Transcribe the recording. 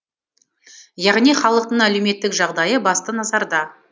яғни халықтың әлеуметтік жағдайы басты назарда